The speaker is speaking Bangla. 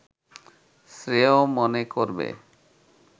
শ্রেয় মনে করবে